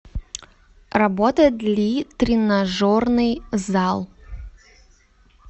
работает ли тренажерный зал